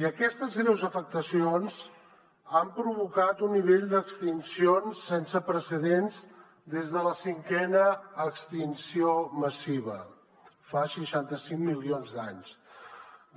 i aquestes greus afectacions han provocat un nivell d’extincions sense precedents des de la cinquena extinció massiva fa seixanta cinc milions d’anys